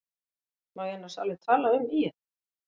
Má ég annars alveg tala um ÍR?